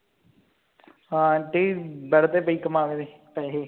aunty ਕਮਾਵੇਂ ਤੁਸੀਂ ਪੈਸੇ